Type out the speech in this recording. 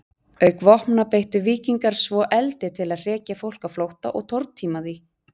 Auk vopna beittu víkingar svo eldi til að hrekja fólk á flótta og tortíma því.